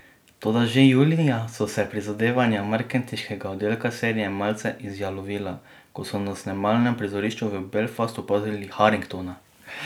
Toda že julija so se prizadevanja marketinškega oddelka serije malce izjalovila, ko so na snemalnem prizorišču v Belfastu opazili Haringtona.